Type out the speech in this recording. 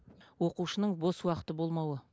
оқушының бос уақыты болмауы